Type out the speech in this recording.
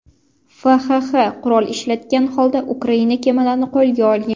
FXX qurol ishlatgan holda Ukraina kemalarini qo‘lga olgan.